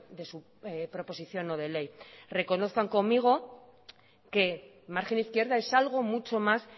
de su proposición no de ley reconozcan conmigo que margen izquierda es algo mucho más